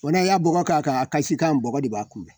Bɔn n'a y'a bɔgɔ k'a kan, a kasikan bɔgɔ de b'a kunbɛn.